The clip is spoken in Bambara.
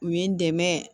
U ye n dɛmɛ